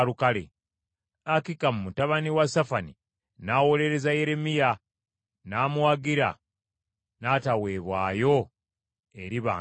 Akikamu mutabani wa Safani n’awolereza Yeremiya n’amuwagira n’ataweebwayo eri bantu kuttibwa.